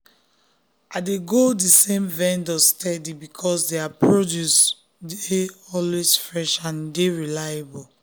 i dey go the same vendor steady because their produce dey always fresh and e dy reliable.